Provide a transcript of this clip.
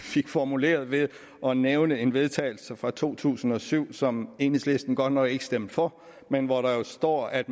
fik formuleret ved at nævne en vedtagelse fra to tusind og syv som enhedslisten godt nok ikke stemte for men hvor der står at